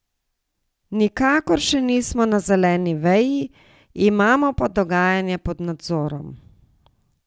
Nikakor še nismo na zeleni veji, imamo pa dogajanje pod nadzorom.